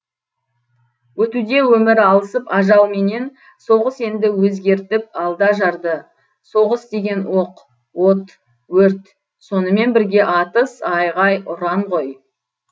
өтуде өмір алысып ажалменен соғыс енді өзгертіп алды ажарды соғыс деген оқ от өрт сонымен бірге атыс айғай ұран ғой